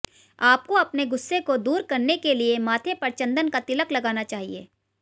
आपको अपने गुस्से को दूर करने के लिए माथे पर चंदन का तिलक लगाना चाहिए